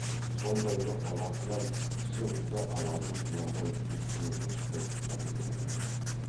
сондайлық баласынан кіші қызды аларын құнанбай үй ішінің ешқайсысына білдірген жоқ